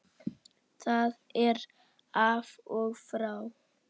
Það er af og frá.